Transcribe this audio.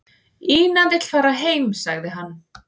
"""Ína vill fara heim, sagði hann."""